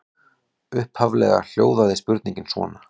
Upphaflega hljóðaði spurningin svona: